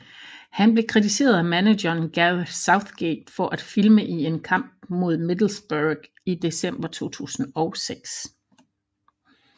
Han blev kritiseret af manageren Gareth Southgate for at filme i en kamp mod Middlesbrough i december 2006